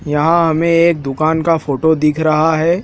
यहां हमें एक दुकान का फोटो दिख रहा है।